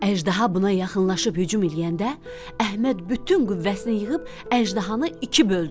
Əjdaha buna yaxınlaşıb hücum eləyəndə Əhməd bütün qüvvəsini yığıb əjdahanı iki böldü.